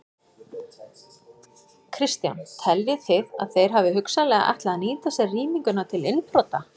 Kristján: Teljið þið að þeir hafi hugsanlega ætlað að nýta sér rýminguna til innbrota?